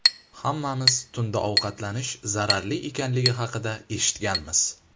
Hammamiz tunda ovqatlanish zararli ekanligi haqida eshitganmiz.